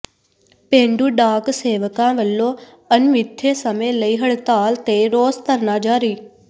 ਪੇਂਡੂ ਡਾਕ ਸੇਵਕਾਂ ਵੱਲੋਂ ਅਣਮਿਥੇ ਸਮੇਂ ਲਈ ਹੜਤਾਲ ਤੇ ਰੋਸ ਧਰਨਾ ਜਾਰੀ